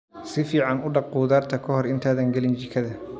Si fiican u dhaq khudaarta ka hor intaadan gelin jikada.